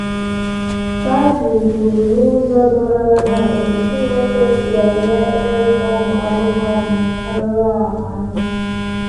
Bible um kwuru n’ụzọ doro anya otú Chineke si um ele ịrụsa ụmụ anụmanụ um arụrụala anya.